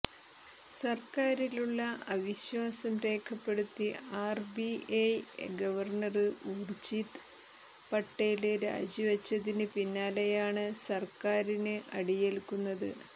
സര്ക്കാറിലുള്ള അവിശ്വാസം രേഖപ്പെടുത്തി R B I governor Urjit Patel രാജിവച്ചതിന് പിന്നാലെയാണ് സര്ക്കാറിന് അടിയേല്ക്കുന്നത്